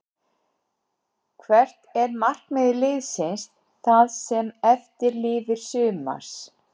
Hvert er markmið liðsins það sem eftir lifir sumars?